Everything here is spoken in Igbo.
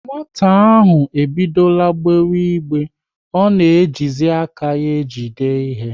Nwata ahụ ebidora gbe igbe, ọ na ejizi aka ya ejide ihe